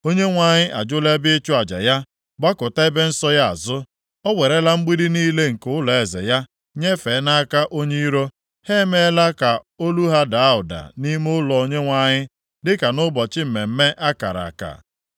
Onyenwe anyị ajụla ebe ịchụ aja ya gbakụta ebe nsọ ya azụ. O werela mgbidi niile nke ụlọeze ya nyefee nʼaka onye iro; ha emeela ka olu ha daa ụda nʼime ụlọ Onyenwe anyị dịka nʼụbọchị mmemme a kara aka.